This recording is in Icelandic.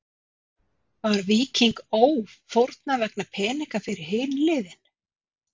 Var Víking Ó fórnað vegna peninga fyrir hin liðin?